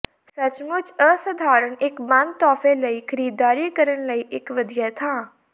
ਸੱਚਮੁਚ ਅਸਧਾਰਨ ਇਕ ਬੰਦ ਤੋਹਫ਼ੇ ਲਈ ਖਰੀਦਦਾਰੀ ਕਰਨ ਲਈ ਇਕ ਵਧੀਆ ਥਾਂ